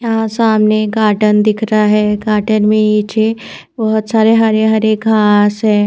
यहाँ सामने गार्डेन दिख रहा है गार्डेन मैं नीचे बहोत सारे हरे-हरे घास हैं ।